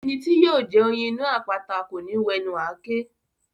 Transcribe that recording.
Ẹni tí yóò jẹ oyin inú àpáta kò ní wẹnu àáké.